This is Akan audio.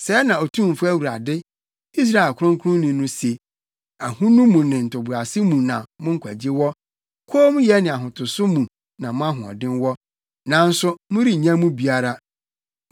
Sɛɛ na Otumfo Awurade, Israel Kronkronni no se: “Ahonu mu ne ntoboase mu na mo nkwagye wɔ kommyɛ ne ahotoso mu na mo ahoɔden wɔ, nanso, morennya mu biara.